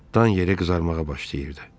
Dan yeri qızarmağa başlayırdı.